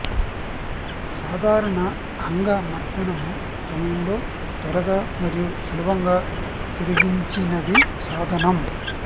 సాధారణ అంగ మర్దనము సమయంలో త్వరగా మరియు సులభంగా తొలగించినవి సాధనం